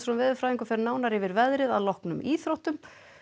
veðurfræðingur fer nánar yfir veðrið að loknum íþróttum